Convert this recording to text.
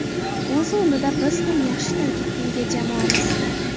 O‘z o‘rnida biz ham yaxshi tarkibga ega jamoamiz.